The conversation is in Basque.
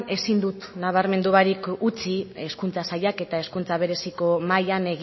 ezin dut nabarmendu barik utzi hezkuntza sailak eta hezkuntza bereziko mahaian